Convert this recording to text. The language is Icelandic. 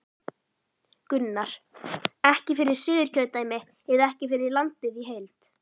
Gunnar: Ekki fyrir Suðurkjördæmi eða ekki fyrir landið í heild?